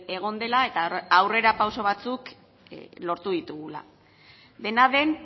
egon dela eta aurrera pauso batzuk lortu ditugula dena den